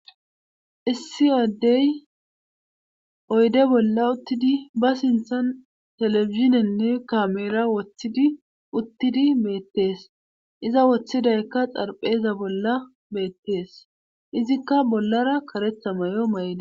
Issi aaddey oyde bolla uttidi ba sinthan teleizinenne kamera woththidi uttidi meettees iza woththidaykka xarpheeza bolla beettees izikka bollara karetha may7o may7da.